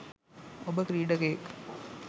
ඔබ ක්‍රීඩකයෙක්